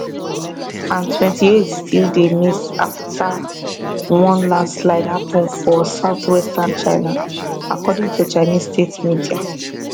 and twenty eight still dey miss afta one lanslide happun for southwestern china according to chinese state media